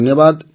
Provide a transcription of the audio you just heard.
ଧନ୍ୟବାଦ